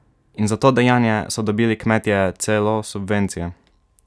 In za to dejanje so dobili kmetje celo subvencije!